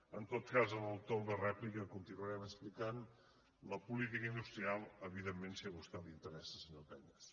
en tot cas en el torn de rèplica continuarem explicant la política industrial evidentment si a vostè li interes·sa senyor cañas